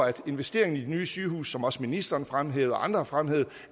at investeringen i de nye sygehuse som også ministeren fremhævede og andre fremhævede